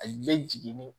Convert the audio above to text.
A bɛ jigin ni